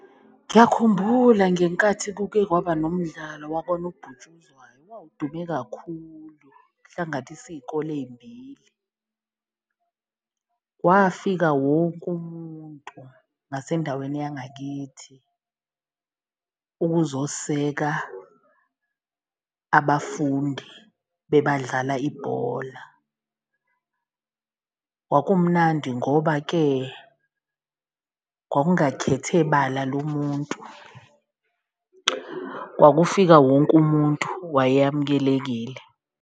Ngiyakhumbula ngenkathi kuke kwaba nomdlalo wakwanobhutshuzwayo wawudume kakhulu kuhlanganise iy'kole ey'mbili, wafika wonke umuntu ngasendaweni yangakithi yini ukuzoseka abafundi bebadlala ibhola. Kwakumnandi ngoba-ke kwakungakhethe bala lomuntu kwakufika wonke umuntu wayamukelekile.